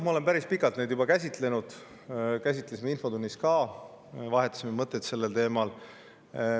Ma olen päris pikalt seda juba käsitlenud, käsitlesime infotunnis ka, vahetasime mõtteid sellel teemal.